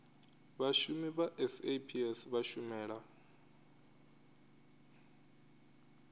vhashumi vha saps vha shumela